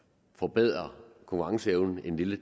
forbedre konkurrenceevnen en lille